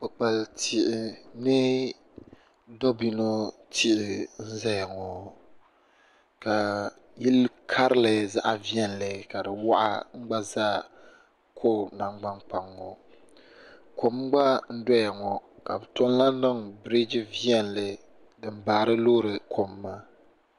kpikpaltihi ni dobino tihi n zaya ŋɔ ka yili karili zaɣa viɛlli ka di waɣa n gba za ko'nangbankpaŋa ŋɔ kom gba n doya ŋɔ ka bɛ tom lahi niŋ biriji viɛlli din baariloori kom maa.